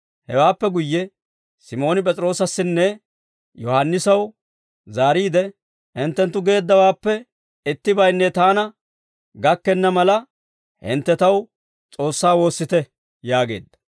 Hewaappe guyye Simooni P'es'iroosassinne Yohaannisaw zaariide, «Hinttenttu geeddawaappe ittibaynne taana gakkenna mala, hintte taw S'oossaa woossite» yaageedda.